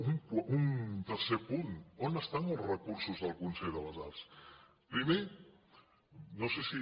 un tercer punt on són els recursos del consell de les arts primer no sé si